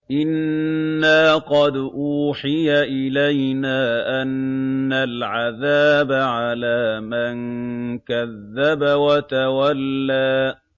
إِنَّا قَدْ أُوحِيَ إِلَيْنَا أَنَّ الْعَذَابَ عَلَىٰ مَن كَذَّبَ وَتَوَلَّىٰ